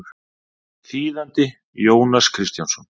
Þýðandi Jónas Kristjánsson.